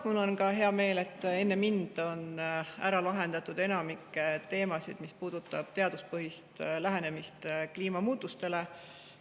Mul on hea meel, et enne mind on ära lahendatud enamik teemasid, mis puudutavad teaduspõhist lähenemist kliimamuutustele.